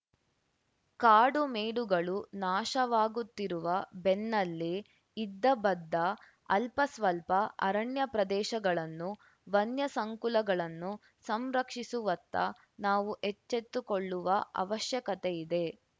ಕಾಡುಮೇಡುಗಳು ನಾಶವಾಗುತ್ತಿರುವ ಬೆನ್ನಲ್ಲೇ ಇದ್ದಬದ್ದ ಅಲ್ಪ ಸ್ವಲ್ಪ ಅರಣ್ಯಪ್ರದೇಶಗಳನ್ನು ವನ್ಯಸಂಕುಲಗಳನ್ನು ಸಂರಕ್ಷಿಸುವತ್ತ ನಾವು ಎಚ್ಚೆತ್ತುಕೊಳ್ಳುವ ಅವಶ್ಯಕತೆಯಿದೆ